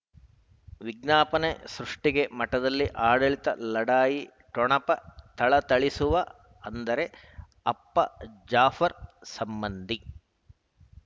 ವಿಜ್ಞಾಪನೆ ಸೃಷ್ಟಿಗೆ ಮಠದಲ್ಲಿ ಆಡಳಿತ ಲಢಾಯಿ ಠೊಣಪ ಥಳಥಳಿಸುವ ಅಂದರೆ ಅಪ್ಪ ಜಾಫರ್ ಸಂಬಂಧಿ